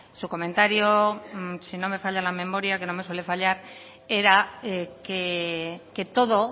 su comentario si no me falla la memoria que no me suele fallar era que todo